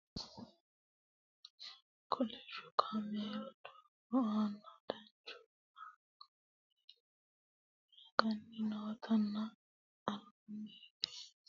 kolishsho kameelu doogo aana duuchu kameeli haranni nootanna albanni higeno xexxerrisu nootanna hattono duuchu hijaari noota anafanni baseeti yine woshshinanni